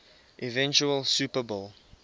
eventual super bowl